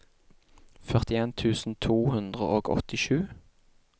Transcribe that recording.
førtien tusen to hundre og åttisju